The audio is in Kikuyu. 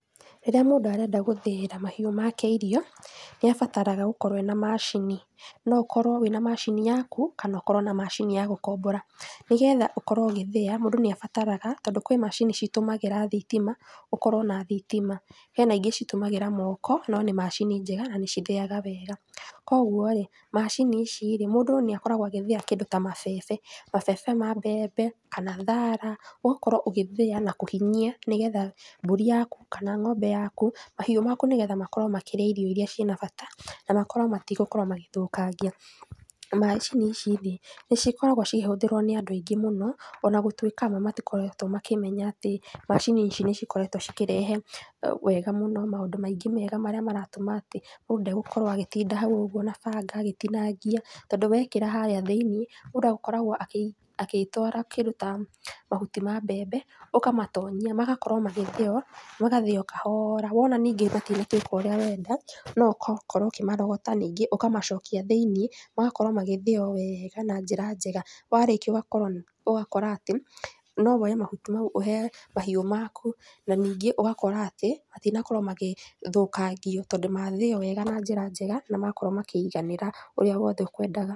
Rĩrĩa mũndũ arenda gũthĩĩra mahiũ make irio, nĩ abataraga gũkorwo ena macini, no ũkorwo wĩna macini yaku, kana ũkorwo na macini ya gũkombora. Nĩgetha ũkorwo ũgĩthĩya hena kĩrĩa ũkoragwo ũgĩbatara, tondũ kwĩna macini ĩtũmagĩra thitima, ũkorwo na thitima. Hena ingĩ itũmagĩra moko, no nĩ macini njega na nĩ ithĩyaga wega. Koguo-rĩ, macini ici-rĩ, mũndũ nĩ akoragwo agĩthĩya kĩndũ ta mabebe, mabebe ma mbembe kana thara, agakorwo ũgĩthĩya kũhinyia, nĩgetha mbũri yaku kana ng'ombe yaku, mahiũ maku nĩgetha magakorwo makĩrĩa irio iria ciĩna bata na makorwo metigũkorwo magĩthũkangĩa. Macini ici-rĩ, nĩ cikoragwo cikĩhũthĩrwo nĩ andũ aingĩ mũno, ona gũtuĩka amwe matikoretwo makĩmenya atĩ macini ici nĩ cikoretwo cikĩrehe wega mũno, maũndũ maingĩ mega marĩa maratũma atĩ mũndũ ndegũkorwo agĩtinda hau ũguo na banga agĩtinangia, tondũ wekĩra harĩa thĩiniĩ, mũndũ akoragwo agĩtwara kĩndũ ta mahuti ma mbembe, ũkamatonyia, magakorwo magĩthĩyo, magathĩyo kahoora. Wona ta matuĩka ũrĩa ũkwenda kana agakorwo ũkĩmarogota, ũkamacokia thiinĩ, magakorwo magĩthĩyo wega na njĩra njega. Warĩkia ũgakora atĩ, no woye mahuti mau ũhe mahiũ maku, na nĩngĩ ũgakora atĩ, matinakorwo magĩthũkangio tondũ mathĩyo wega na njĩra njega, na makorwo makĩiganĩra ũrĩa wothe ũkwendaga.